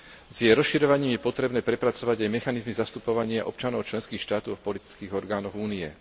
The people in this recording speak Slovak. S jej rozširovaním je potrebné prepracovať aj mechanizmy zastupovania občanov členských štátov v politických orgánoch Únie.